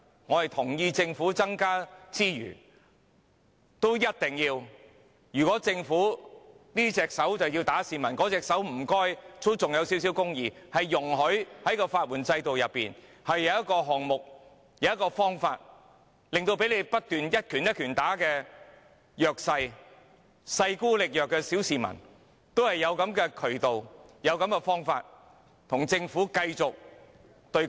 我同意政府要增加資源，如果政府這隻手要打市民，麻煩另一隻手也要留存少許公義，容許市民在法援制度內有一個方法，令到被政府一拳一拳不斷攻擊的弱勢、勢孤力弱的小市民，也有渠道和方法與政府繼續對抗。